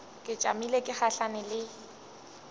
ke tšamile ke gahlana le